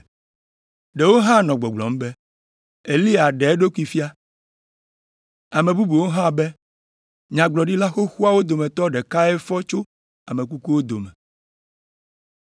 Ɖewo hã nɔ gbɔgblɔm be, “Eliya ɖe eɖokui fia.” Ame bubuwo hã be, “Nyagblɔɖila xoxoawo dometɔ ɖekae fɔ tso ame kukuwo dome.”